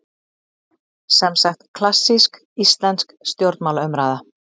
Semsagt klassísk íslensk stjórnmálaumræða.